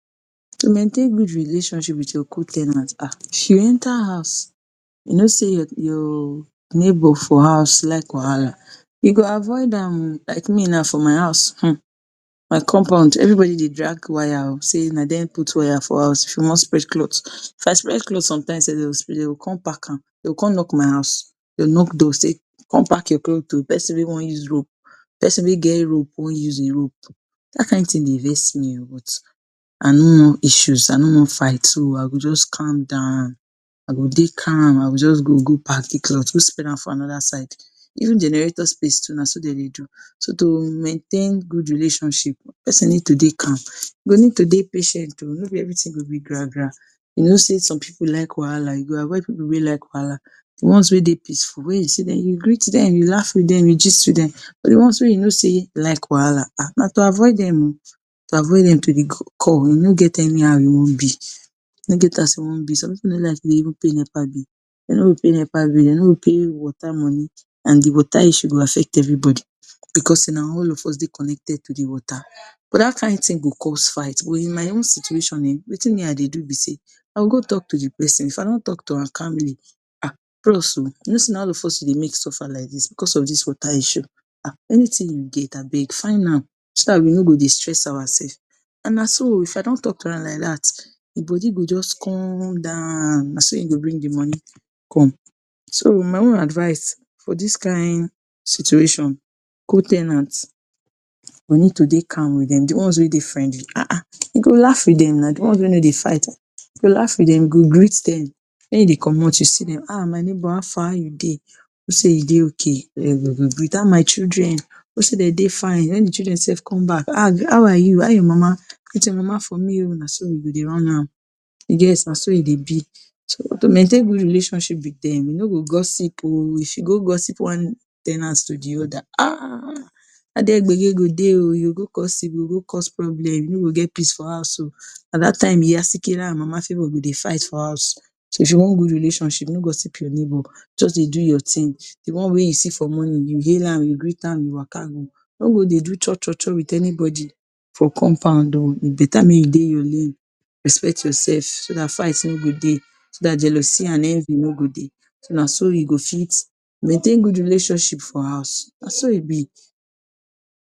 To maintain good relationship with your co- ten ant um if you enter house, you know sey your your neighbour for house like wahala, you go avoid am o. Like me now for my house um my compound, everybody dey drag wire o, sey na dem put wire for house if you wan spread cloth. If I spread cloth some times sef dey dey go come pack am. Dey go come knock my house, dey go knock door sey come pack your cloth o, pesin wey wan use rope, pesin wey get rope wan use im rope. Dat kain thing dey vex me o, but I no want issues, I no want fight, so I go just calm down, I go dey calm, I go just go go pack de cloth, go spread am for another side. Even generator space too, na soo dem dey do. So to maintain good relationship, pesin need to dey calm. You go need to dey patient o, no be everything go be gra gra. You know sey some pipu like wahala. You go avoid pipu wey like wahala. De ones wey dey peaceful, when you see dem you greet dem, you laugh with dem, you gist with dem. But de ones wey you know sey like wahala um na to avoid dem o, to avoid dem to de core, e no get anyhow e wan be, e no get as e wan be, some pipu no like to dey even pay nepa bill. Dey no pay nepa bill, dey no pay water moni, and de water issue go affect everybody, because sey na all of us dey connected to de water. But dat kain thing go cause fight. But in my own situation um wetin me I dey do be sey I go go talk to de pesin, if I don talk to am calmly, um bros o, you know sey na all of us you dey make suffer like dis because of dis water issue um anything you get abeg find am, so dat we no go dey stress our sef. And na so o, if I don talk to am like dat, im body go just come down, na so im go bring de money come. So my own advice for dis kain situation, co- ten ant we need to dey calm with dem. De ones wey dey friendly um you go laugh with dem now, de ones wey no dey fight you go laugh with dem, you go greet dem. When you dey komot, you see dem, um my neighbour how far how you dey, hope sey you dey okay? greet. how my children? Hope sey dey dey fine? When de children sef come back um how are you? how your mama? Greet your mama for me o. Na so you go dey run am. You get? Na so e dey be. So to maintain good relationship with dem, you no go gossip o. If you go gossip one ten ant to de other um na there gbege go dey o, you go go gossip, you go go cause problem, you no go get peace for house o. Na dat time iya Sikira and mama Favour go dey fight for house. So if you want good relationship, no gossip your neighbour. Just dey do your thing. De one wey you see for morning, you hail am, you greet am, you waka. No go dey do cho cho cho with anybody for compound o. E beta make you dey your lane, respect your sef, so dat fight no go dey, so dat jealousy and envy no go dey. So na so you go fit maintain good relationship for house. Na so e be.